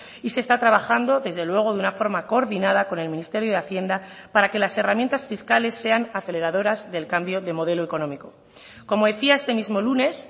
y se está trabajando desde luego de una forma coordinada con el ministerio de hacienda para que las herramientas fiscales sean aceleradoras del cambio de modelo económico como decía este mismo lunes